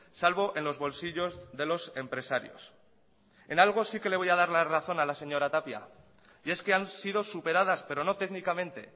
salvo en los bolsillos de los empresarios en algo sí que le voy a dar la razón a la señora tapia y es que han sido superadas pero no técnicamente